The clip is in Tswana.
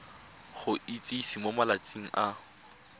go itsise mo malatsing a